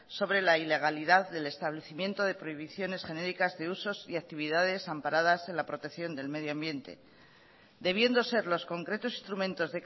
sobre la ilegalidad del establecimiento de prohibiciones genéricas de usos y actividades amparadas en la protección del medio ambiente debiendo ser los concretos instrumentos